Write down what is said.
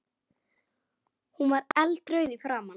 Hún var eldrauð í framan.